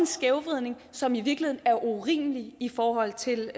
skævvridning som i virkeligheden er urimelig i forhold til